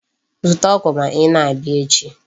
Zụta ọgwụ ma ị na-abịa echi.